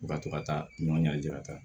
Ka to ka taa n'u y'a jira ka